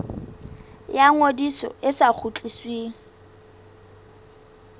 ya ngodiso e sa kgutlisweng